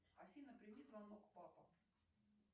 афина прими звонок папа